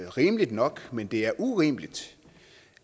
rimeligt nok men det er urimeligt